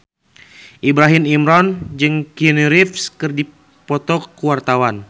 Ibrahim Imran jeung Keanu Reeves keur dipoto ku wartawan